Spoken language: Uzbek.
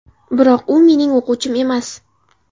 Biroq u mening o‘quvchim emas.